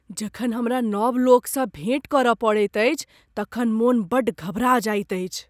जखन हमरा नब लोकसँ भेट करय पड़ैत अछि तखन मन बड़ घबरा जाइत अछि।